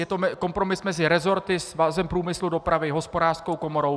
Je to kompromis mezi resorty, Svazem průmyslu a dopravy, Hospodářskou komorou.